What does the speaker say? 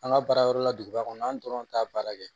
An ka baara yɔrɔ la duguba kɔnɔ an dɔrɔn t'a baara kɛ